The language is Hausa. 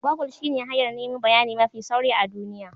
Gogul shine hanyar nemo bayani mafi sauri a duniya.